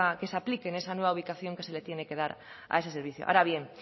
que se apliquen en esa nueva aplicación que se les tiene que dar a ese servicio ahora bien